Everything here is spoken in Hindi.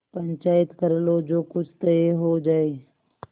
पंचायत कर लो जो कुछ तय हो जाय